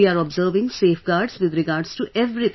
We are observing safeguards with regards to everything